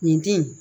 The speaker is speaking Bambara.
Nin di in